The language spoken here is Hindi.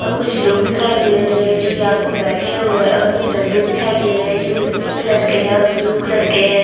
और कुछ लोग दिखाई दे रहे है जो यहाँ पर बैठे हुए है और कुछ डब्बे दिखाई दे रहे है जो मिट्टी कलर के है जो ब्लू कलर के है।